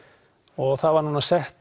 og það var sett